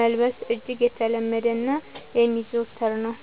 መልበስ እጅግ የተለመደና የሚዘወተር ነው።